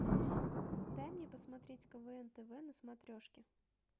дай мне посмотреть квн тв на смотрешке